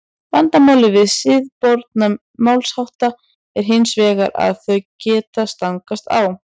vandamálið við siðaboð málshátta er hins vegar að þau geta stangast á